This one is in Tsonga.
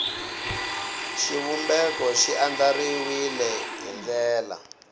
xivumbeko xi andlariwile hi ndlela